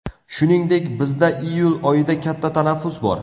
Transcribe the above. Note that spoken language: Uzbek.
Shuningdek, bizda iyul oyida katta tanaffus bor.